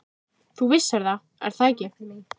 Þú vissir það, er það ekki?